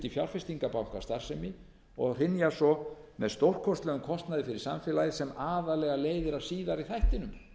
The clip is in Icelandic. fjárfestingarbankastarfsemi og hrynja svo með stórkostlegum kostnaði fyrir samfélagið sem aðallega leiðir af síðari þættinum það er